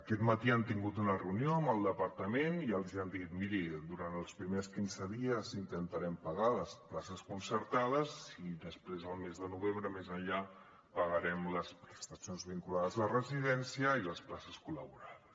aquest matí han tingut una reunió amb el departament i els han dit miri durant els primers quinze dies intentarem pagar les places concertades i després el mes de novembre més enllà pagarem les prestacions vinculades a la residència i les places col·laborades